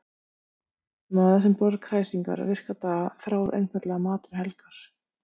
Maður sem borðar kræsingar virka daga þráir einfaldan mat um helgar.